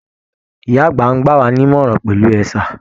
Ìyá àgbà ń gbàwá nímọ̀ràn pẹ̀lú ẹ̀sà